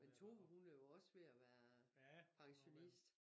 Men Tove hun er jo også ved at være pensionist